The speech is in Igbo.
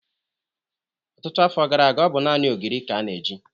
Ọtụtụ afọ gara aga, ọ bụ naanị ogiri ka a na-eji.